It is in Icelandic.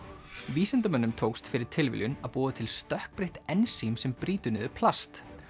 vísindamönnum tókst fyrir algjöra tilviljun að búa til stökkbreytt ensím sem brýtur niður plast